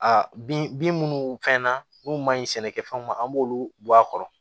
Aa bin munnu fɛn na n'u ma ɲi sɛnɛkɛfɛnw ma an b'olu bɔ a kɔrɔ